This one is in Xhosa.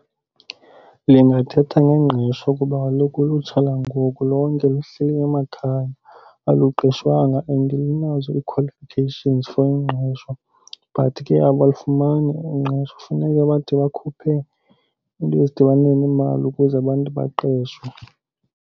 Ndingathetha ngengqesho kuba kaloku ulutsha langoku lonke luhleli emakhaya, aluqeshwanga and linazo i-qualifications for ingqesho, but ke abalufumani ingqesho. Kufuneka bade bakhuphe into ezidibana neemali ukuze abantu baqeshwe.